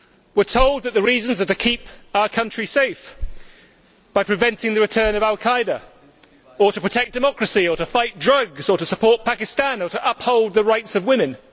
We are told that the reasons are to keep our country safe by preventing the return of al Qaeda, or to protect democracy, or to fight drugs, or to support Pakistan, or to uphold the rights of women.